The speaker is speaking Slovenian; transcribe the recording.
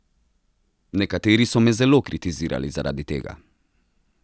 Nekateri so me zelo kritizirali zaradi tega.